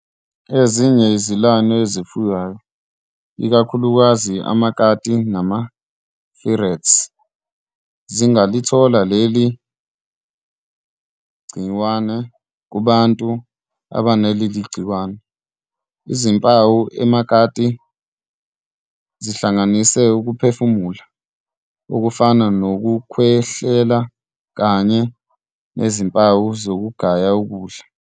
Ezinye izilwane ezifuywayo, ikakhulukazi amakati nama-ferrets, zingalithola leli gciwane kubantu abanaleli gciwane. Izimpawu emakati zihlanganisa ukuphefumula, okufana nokukhwehlela, kanye nezimpawu zokugaya ukudla.